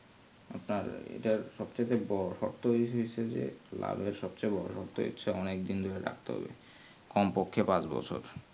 আপনার এটার সব থেকে বোরো শক্ত জিনিস তা হচ্ছে যে কাভি এর সবচেয়ে বোরো ইচ্ছে অনেক দিন ধরে রাখতে হবে কম পক্ষে পাঁচ বছর